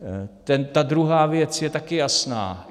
Ta druhá věc je taky jasná.